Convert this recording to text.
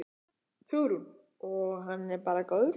Hugrún: Og hann er bara góður?